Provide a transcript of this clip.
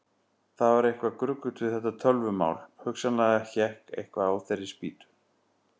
Það var eitthvað gruggugt við þetta tölvumál, hugsanlega hékk eitthvað á þeirri spýtu.